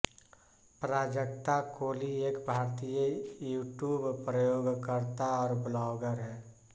प्राजक्ता कोली एक भारतीय यूट्यूब प्रयोगकर्ता और ब्लॉगर है